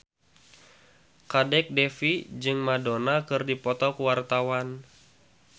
Kadek Devi jeung Madonna keur dipoto ku wartawan